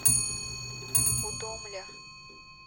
удомля